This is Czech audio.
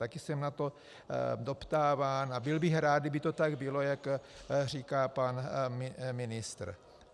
Také jsem na to doptáván a byl bych rád, aby to tak bylo, jak říká pan ministr.